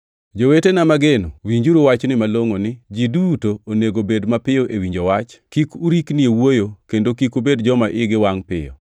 Jowetena mageno, winjuru wachni malongʼo ni: Ji duto onego bed mapiyo e winjo wach, kik urikni e wuoyo kendo kik ubed joma igi wangʼ piyo,